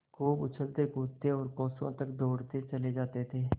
खूब उछलतेकूदते और कोसों तक दौड़ते चले जाते थे